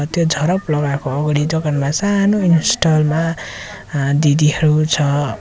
त्यो झराप लगाएको अगाडि दोकानमा सानो इन्स्टल मा दिदीहरू छ।